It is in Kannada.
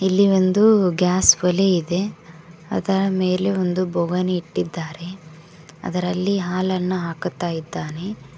ಇಲ್ಲಿ ಒಂದು ಗ್ಯಾಸ್ ಓಲೆ ಇದೆ ಅದರ ಮೇಲೆ ಒಂದು ಬೊಗನ್ ಇಟ್ಟಿದ್ದಾರೆ ಅದರಲ್ಲಿ ಹಾಲನ್ನು ಹಾಕುತ್ತಾ ಇದ್ದಾನೆ.